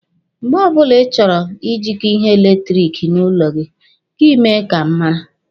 Mgbe ọbụla Ị chọrọ Ị jịkọ ihe eletiriki n'ụlọ gị, gị mee ka m mara.